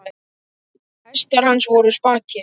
Hestar hans voru spakir.